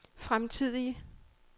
fremtidige